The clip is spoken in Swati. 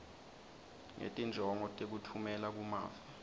ngetinjongo tekutfumela kumave